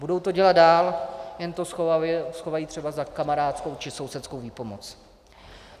Budou to dělat dál, jen to schovají třeba za kamarádskou či sousedskou výpomoc.